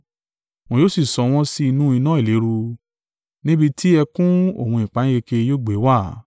Wọn yóò sì sọ wọ́n sí inú iná ìléru, níbi ti ẹkún òun ìpayínkeke yóò gbé wà.